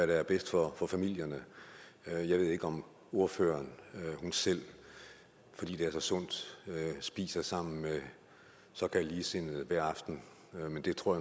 der er bedst for familierne jeg ved ikke om ordføreren selv fordi det er så sundt spiser sammen med såkaldt ligesindede hver aften men det tror